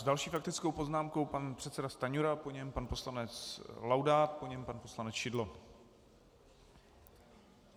S další faktickou poznámkou pan předseda Stanjura, po něm pan poslanec Laudát, po něm pan poslanec Šidlo.